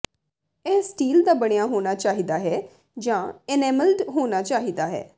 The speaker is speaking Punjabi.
ਇਹ ਸਟੀਲ ਦਾ ਬਣਿਆ ਹੋਣਾ ਚਾਹੀਦਾ ਹੈ ਜਾਂ ਏਨਾਮੇਲਡ ਹੋਣਾ ਚਾਹੀਦਾ ਹੈ